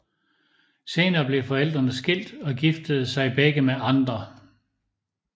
Senere blev forældrene skilt og giftede sig begge med andre